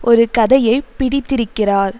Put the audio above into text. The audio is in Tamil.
ஒரு கதையை பிடித்திருக்கிறார்